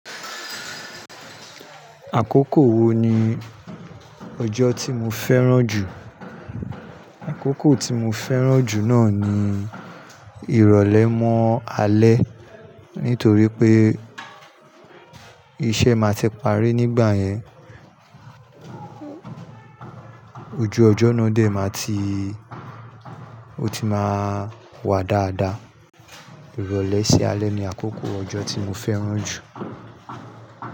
Àkókò wo ni ọjọ́ tí mo fẹ́ràn jù? Àkókò tí mo fẹ́ràn jù náà ni ìrọ̀lẹ́ mọ́ alẹ́. Nítorí pé iṣẹ́ máa ti parí nígbà yẹn, ojú ọjọ́ náà dè máa tii, ó ti máa wà dáadáa. Ìrọ̀lẹ́ sí alẹ́ ni àkókò ọjọ́ tí mo fẹ́ràn jù.